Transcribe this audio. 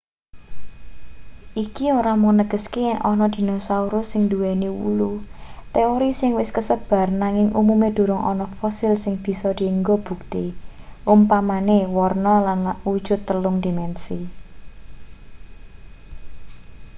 iki ora mung negeske yen ana dinosaurus sing nduweni wulu teori sing wis kasebar nanging umume durung ana fosil sing bisa dienggo bukti umpamane warna lan wujut telung-dimensi